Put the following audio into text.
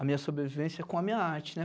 a minha sobrevivência com a minha arte, né?